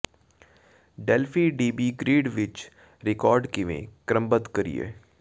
Delphi D B grid ਵਿਚ record ਕਿਵੇਂ ਕ੍ਰਮਬੱਧ ਕਰੀਏ